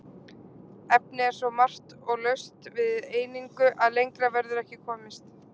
Efnið er svo margt og laust við einingu að lengra verður ekki komist.